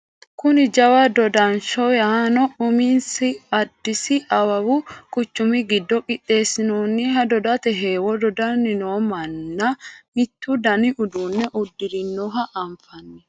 kuni jawa dodansho yaanno uminni addisi awawu quchumi giddo qixxeessinanniha dodate heewo dodanni noo manna mittu dani uduunne uddirinoha anfanni